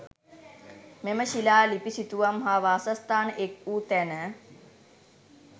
මෙම ශිලා ලිපි, සිතුවම් හා වාසස්ථාන එක් වූ තැන